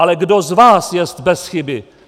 Ale kdo z vás je bez chyby?